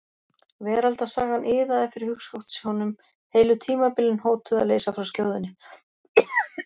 Veraldarsagan iðaði fyrir hugskotssjónum, heilu tímabilin hótuðu að leysa frá skjóðunni.